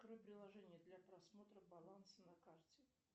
открой приложение для просмотра баланса на карте